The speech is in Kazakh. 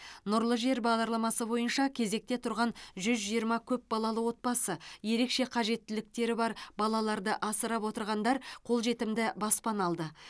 нұрлы жер бағдарламасы бойынша кезекте тұрған жүз жиырма көпбалалы отбасы ерекше қажеттіліктері бар балаларды асырап отырғандар қолжетімді баспана алды